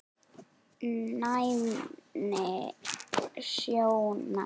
Næmni sjónar